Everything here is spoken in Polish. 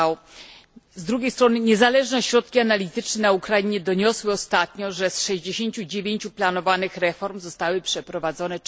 5. Z drugiej strony niezależne ośrodki analityczne na Ukrainie doniosły ostatnio, że z 69 planowanych reform zostały przeprowadzone